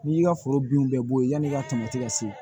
N'i y'i ka foro binw bɛɛ bɔ yenn'i ka tamati ka se